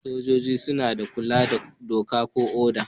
Sojoji suna taimaka da kula da doka ko oda.